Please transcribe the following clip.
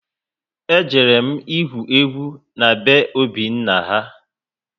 E jere m igwu egwu na be Obi ha